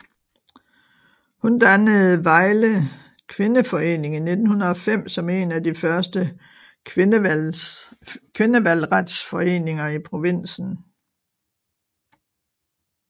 Hun dannede Vejle Kvindeforening i 1905 som en af de første kvindevalgretsforeninger i provinsen